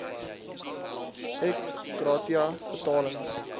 ex gratia betalings